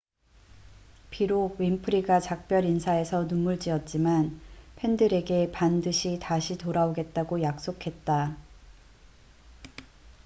비록 윈프리가 작별 인사에서 눈물지었지만 팬들에게 반드시 다시 돌아오겠다고 약속했다